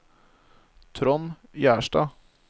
Trond Gjerstad